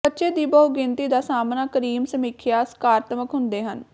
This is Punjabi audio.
ਬੱਚੇ ਦੀ ਬਹੁਗਿਣਤੀ ਦਾ ਸਾਹਮਣਾ ਕਰੀਮ ਸਮੀਖਿਆ ਸਕਾਰਾਤਮਕ ਹੁੰਦੇ ਹਨ